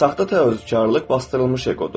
Saxta təvəkküllük basdırılmış eqodur.